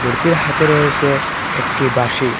মূর্তির হাতে রয়েসে একটি বাঁশি।